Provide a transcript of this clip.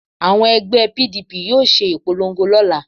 Àwọn ẹgbẹ́ PDP yóò ṣe ìpolongo lọ́la